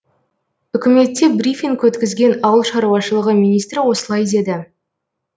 үкіметте брифинг өткізген ауыл шаруашылығы министрі осылай деді